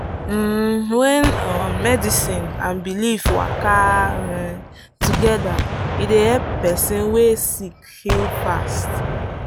um when um medicine and belief waka um together e dey help person wey sick heal fast.